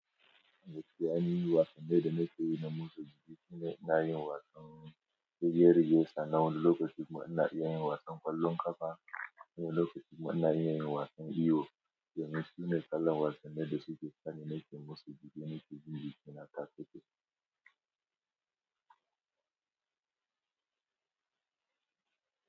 Gaskiya ni wasannin da nake yi na motsa jiki, ina yin wasan shekaru biyu suna wani lokacin muna yin wasan ƙwallon ƙafa, wani lokacin muna yin wasan iyo, shine kalar wasan da suke kamo ne ke musulunci ne ke yin bikin a kasashen su.